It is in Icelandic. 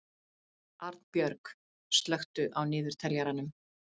Arnbjörg, slökktu á niðurteljaranum.